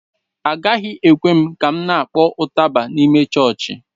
Agaghị ekwe m ka m na-kpọọ ụtaba n'ime chọọchị